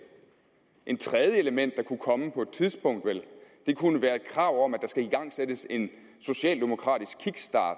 et tredje element der kunne komme på et tidspunkt kunne være et krav om at der skulle igangsættes en socialdemokratisk kickstart